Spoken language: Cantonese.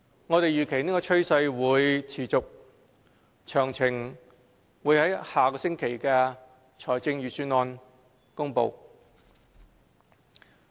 我們預期這趨勢會持續，詳情會於下星期的財政預算案公布。